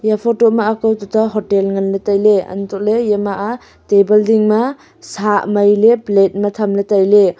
iya photo ma akao tuto hotel nganley tailey antole yama aa table ding ma aa sah mailey plate ma thamley tailey.